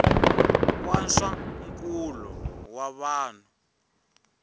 wa swa nkulo wa vanhu